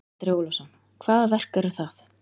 Andri Ólafsson: Hvaða verk eru það?